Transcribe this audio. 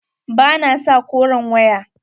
Ba na sa koren waya.